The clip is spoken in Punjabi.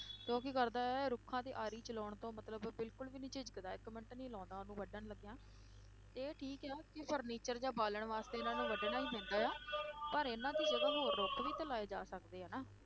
ਤੇ ਉਹ ਕੀ ਕਰਦਾ ਹੈ ਰੁੱਖਾਂ ਤੇ ਆਰੀ ਚਲਾਉਣ ਤੋਂ ਮਤਲਬ ਬਿਲਕੁਲ ਵੀ ਨੀ ਝਿਜਕਦਾ, ਇੱਕ ਮਿੰਟ ਨੀ ਲਾਉਂਦਾ ਉਹਨੂੰ ਵੱਢਣ ਲੱਗਿਆਂ, ਇਹ ਠੀਕ ਹੈ ਕਿ furniture ਜਾਂ ਬਾਲਣ ਵਾਸਤੇ ਇਨ੍ਹਾਂ ਨੂੰ ਵੱਢਣਾ ਹੀ ਪੈਂਦਾ ਹੈ ਪਰ ਇਨ੍ਹਾਂ ਦੀ ਜਗ੍ਹਾ ਹੋਰ ਰੁੱਖ ਵੀ ਤਾਂ ਲਾਏ ਜਾ ਸਕਦੇ ਆ ਨਾ,